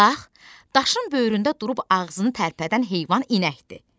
Bax, daşın böyründə durub ağzını tərpədən heyvan inəkdir.